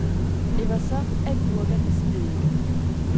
Det var så agurkens eddike.